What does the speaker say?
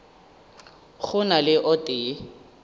go na le o tee